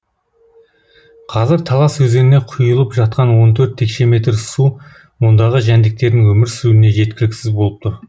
қазір талас өзеніне құйылып жатқан он төрт текше метр су мұндағы жәндіктердің өмір сүруіне жеткіліксіз болып тұр